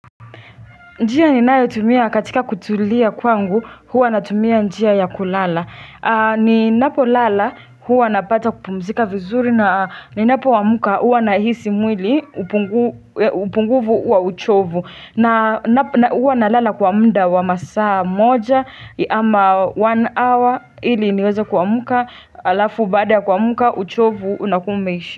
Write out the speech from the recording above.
Njia ninayotumia katika kutulia kwangu huwa natumia njia ya kulala Ninapo lala huwa napata kupumzika vizuri na ninapoamka huwa nahisi mwili upungufu wa uchovu na huwa nalala kwa muda wa masaa moja ama one hour ili niweze kuamka alafu baada kuamka uchovu unakuwa umeisha.